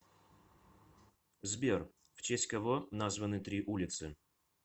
сбер в честь кого названы три улицы